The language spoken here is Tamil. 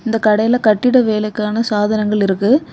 இந்த கடையில கட்டிட வேலைக்கான சாதனங்கள் இருக்கு.